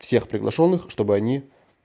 всех приглашённых чтобы они